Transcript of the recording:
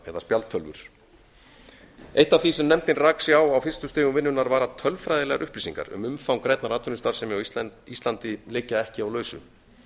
ipad eða spjaldtölvur eitt af því sem nefndin rak sig á á fyrstu stigum vinnunnar var að tölfræðilegar upplýsingar um umfang grænnar atvinnustarfsemi á íslandi liggja ekki á lausu